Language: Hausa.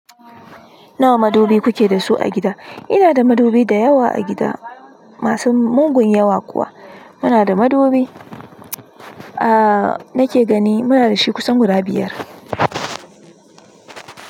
Nawa madubi kuke da su a gida? Ina da madubi dayawa a gida, masu mugun yawa kuwa. Muna da madubi, a nake gani muna dashi kusan guda biyar.